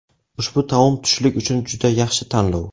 Ushbu taom tushlik uchun juda yaxshi tanlov.